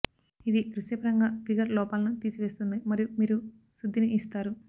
ఇది దృశ్యపరంగా ఫిగర్ లోపాలను తీసివేస్తుంది మరియు మీరు శుద్ధిని ఇస్తారు